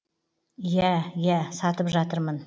иә иә сатып жатырмын